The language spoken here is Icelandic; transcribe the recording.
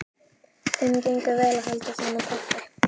Þeim gengur vel að halda sama takti.